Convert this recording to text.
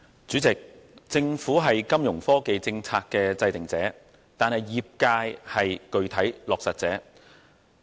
主席，政府是金融科技政策的制訂者，業界則是具體落實者。